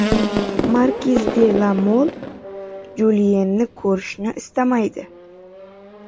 Markiz de La Mol Juliyenni ko‘rishni istamaydi.